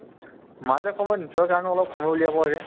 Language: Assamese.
মাজে সময়ে নিজৰ কাৰণেও অলপ সময় উলিয়াব লাগে